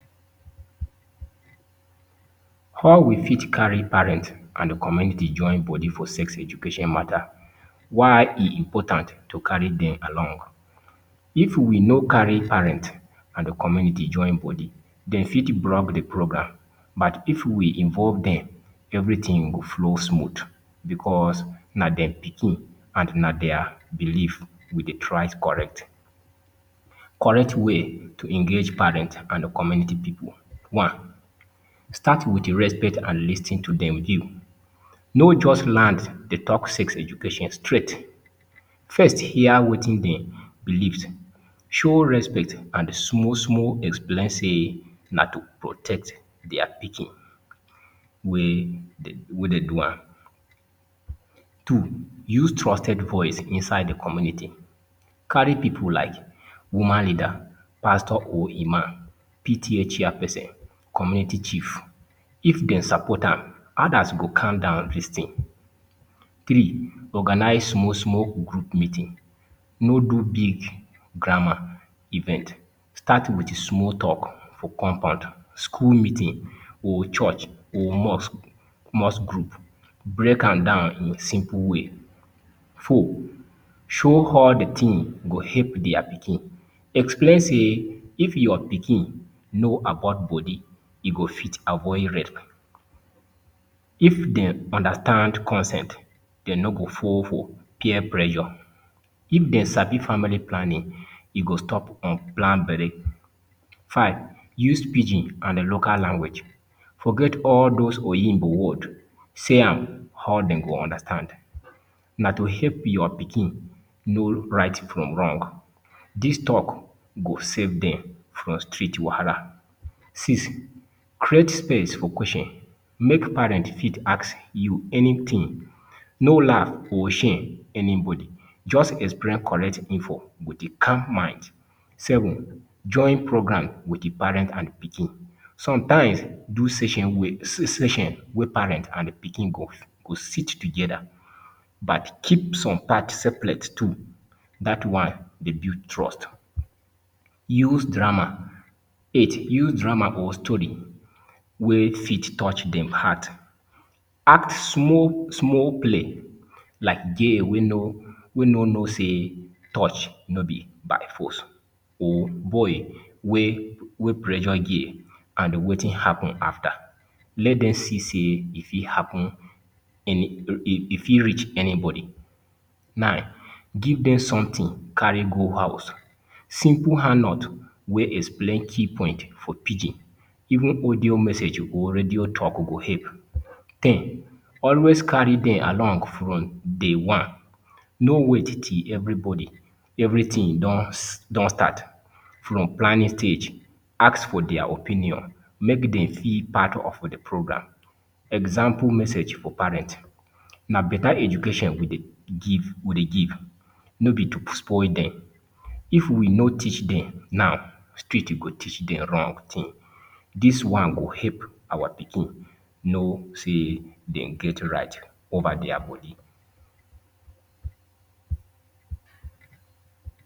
How we fit carry parents and the community join body for sex education matter Why e important to carry them along If we know carry parents and the community join body, they fit block the program, but if we involve them, everything go flow smooth because na their pikin and na their belief we Dey try correct. Correct way to engage parents and community people. One, Start with respect and lis ten to them view. No just land dey talk sex education straight. First, hear wetin they believe. Show respect and small, small explain say na to protect their pikin wey wey dey do am. Two, Use trusted voice inside the community. Carry people like woman leader, pastor or imam, PTA chairperson, community chief if dem support am others go calm down lis ten. three organise small small group meeting no do big grammar event start with small talk for compound school meeting or church or mosque mosque group break am down in simple way. four, show how the thing go help deir pikin explain say if your pikin kno about body e go fit avoid rape, If they understand consent, they no go fall for peer pressure. If they sabi family planning, e go stop unplanned belle. Five, Use pidgin and the local language. Forget all those Oyinbo words. Say am how dem they go understand. Na to help your pikin, kno right from wrong. This talk go save them from street wahala six, create space for question make parents fit ask you anything no laugh or shame anybody just explain correct info with a calm mind. seven join program with di parent and pikin, sometimes session wey parent and pikin go sit togetha but keep some parts seperate too that one dey build trust. use drama eight, use drama or story wey fit touch dem heart act small play wey like girl wey no know sey touch no be by force or boy wey pressure girl and wetin happen afta let dem see say e fit happen e fit reach anybody nine, give dem something carry go house simple handout wey explain things key points for pidgin even audio message or radio track go help ten, always carry dem along from day one no wait till everybody everything don start from planning stage ask for their opinion make dem feel part of the program example message for parent na better education we dey give, no be to spoil dem if we no teach dem now street go teach dem wrong ting dis one go help our pikin no say dem get right over deir body